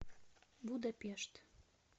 будапешт